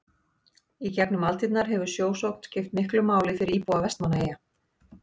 í gegnum aldirnar hefur sjósókn skipt miklu máli fyrir íbúa vestmannaeyja